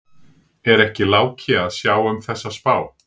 Er ekki Láki að sjá um þessa spá?